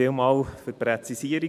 Vielen Dank für die Präzisierung.